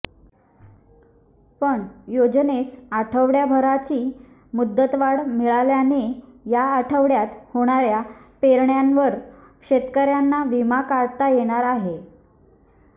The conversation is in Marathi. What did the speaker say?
पण योजनेस आठवडाभराची मुदतवाढ मिळाल्याने या आठवड्यात होणाऱ्या पेरण्यांवर शेतकऱ्यांना विमा काढता येणार आहे